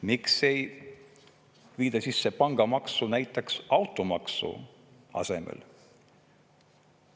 Miks ei viida sisse pangamaksu näiteks automaksu asemel?